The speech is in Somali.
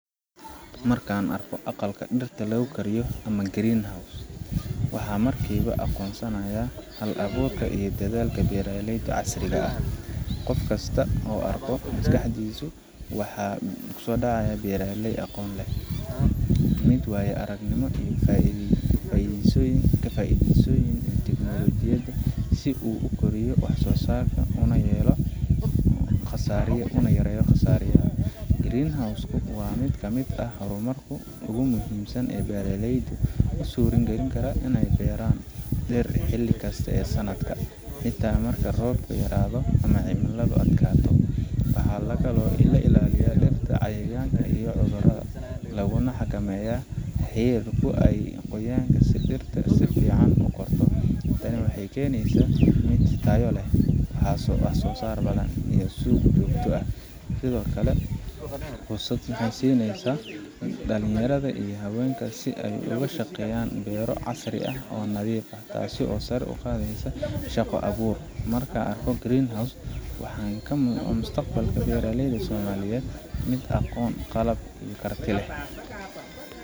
Markaan arko aqalka dirta lagu kariyo ama green house ,waxaan markiiba aqoonsanaaya hal abuurka iyo dadaalka beeraleyda casriga ah, qofkasta oo arko maskaxdiisu waxaa kusoo dacaaya beeraley aqoon leh, mid waayo aragnimo iyo ka faideysi teknolojiyada si uu ukoriyo wax soo saarka una yareeyo qasaaraha, green house waa mid kamid ah hor marku ugu muhiimsan aay beeraleydu usuura galin kara ineey beeran dir xili kasta ee sanadka, xitaa marka uu roobka yaraado ama aay cimiladu adkaato, waxaa laga ilaaliyaa dirta cayayaanka iyo cudurada, laguna xakameeya qoyaanka si aay dirta sifican ukorto, waxeey keneysa mid tayo leh, wax soo saar badan iyo suuq muda ah, sido kale fursad waxeey siineysa dalin yarada iyo habeenka si aay uga shaqeeyan beero casri ah oo nadiif ah, taasi oo sare uqadeysa shaqa abuurka, markaan arko waxaan u arka mustaqbalka beeraleyda somaliyeed mid aqoon iyo karti leh.